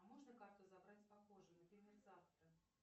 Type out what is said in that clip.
а можно карту забрать попозже например завтра